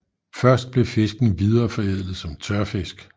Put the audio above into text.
Først blev fisken videreforædlet som tørfisk